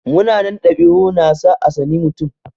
Munanan ɗabi'u na sa a tsani mutum.